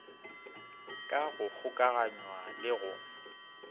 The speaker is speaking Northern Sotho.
ka go kgokaganywa le go